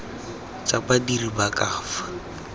tsa badiri ba ka fa